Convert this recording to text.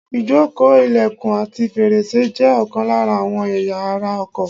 Ìjókòó, ìlẹ̀kùn àti fèrèsé jẹ́ ọ̀kan lára àwọn ẹ̀ya ara ọkọ̀.